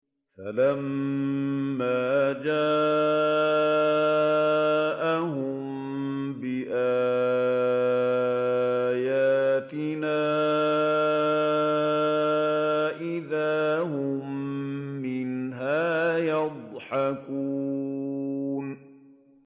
فَلَمَّا جَاءَهُم بِآيَاتِنَا إِذَا هُم مِّنْهَا يَضْحَكُونَ